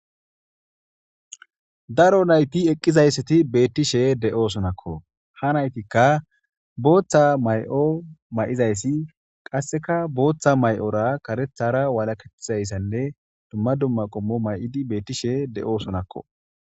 Daro nayti eqqizayssati beettishe de7o sonakko ha naytikka booththa may7o may7izayssi qasseka booththa may7ora karethara walaketizayssanne dumma dumma qommo may7idi beettishe de7o sonakko.